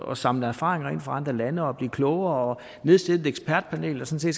at samle erfaringer ind fra andre lande og blive klogere og nedsætte et ekspertpanel der sådan